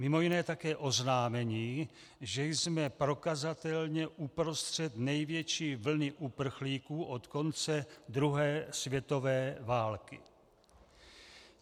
Mimo jiné také oznámení, že jsme prokazatelně uprostřed největší vlny uprchlíků od konce druhé světové války.